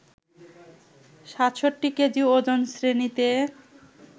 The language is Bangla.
৬৭ কেজি ওজন শ্রেণীতে